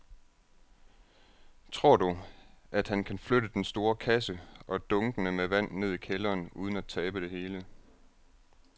Tror du, at han kan flytte den store kasse og dunkene med vand ned i kælderen uden at tabe det hele?